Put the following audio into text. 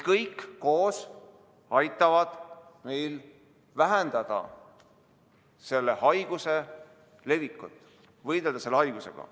Kõik need koos aitavad meil vähendada selle haiguse levikut, võidelda selle haigusega.